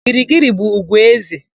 Girigiri bụ ùgwù éze.